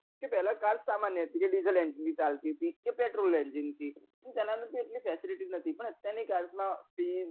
કે પેલા car સામાન્ય હતી કે diesel engine થી ચાલતી હતી કે petrol engine થી તો તેને અંદર એટલી બધી fesility ન તી પણ અત્યાર ની car મા પિન